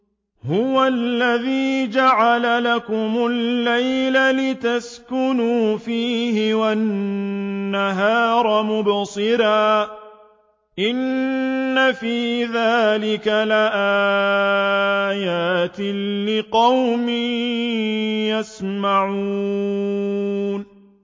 هُوَ الَّذِي جَعَلَ لَكُمُ اللَّيْلَ لِتَسْكُنُوا فِيهِ وَالنَّهَارَ مُبْصِرًا ۚ إِنَّ فِي ذَٰلِكَ لَآيَاتٍ لِّقَوْمٍ يَسْمَعُونَ